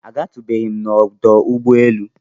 A gatụbeghịm nọdụ ụgbọ elu.